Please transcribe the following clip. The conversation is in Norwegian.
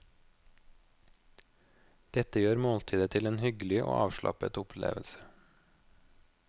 Dette gjør måltidet til en hyggelig og avslappet opplevelse.